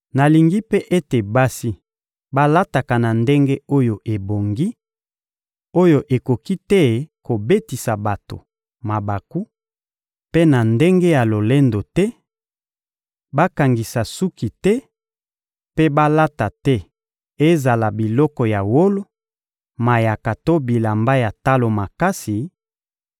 Nalingi mpe ete basi balataka na ndenge oyo ebongi, oyo ekoki te kobetisa bato mabaku, mpe na ndenge ya lolendo te; bakangisa suki te mpe balata te ezala biloko ya wolo, mayaka to bilamba ya talo makasi,